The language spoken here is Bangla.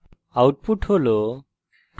output হল